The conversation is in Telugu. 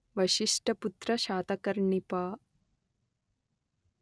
వశిష్టపుత్ర శాతకర్ణి పా